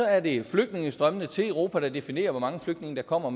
er det flygtningestrømmene til europa der definerer hvor mange flygtninge der kommer